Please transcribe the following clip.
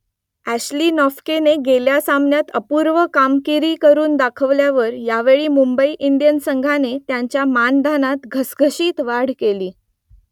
Ashley नोफ्केने गेल्या सामन्यात अपूर्व कामगिरी करून दाखवल्यावर यावेळी मुंबई इंडियन्स संघाने त्याच्या मानधनात घसघशीत वाढ केली